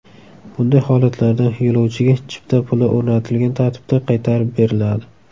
Bunday holatlarda yo‘lovchiga chipta puli o‘rnatilgan tartibda qaytarib beriladi .